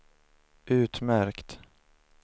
utmärkt